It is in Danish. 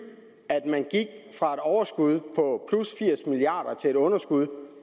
at vi fra et overskud på firs milliard kroner til et underskud